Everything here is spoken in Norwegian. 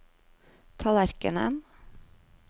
tallerkenen